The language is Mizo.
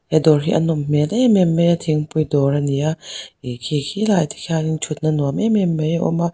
he dawr hi a nawm hmel em em mai a thingpui dawr a ni a ih khi khilaiah te khian thutna nuam em em mai awm a.